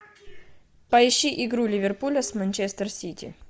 поищи игру ливерпуля с манчестер сити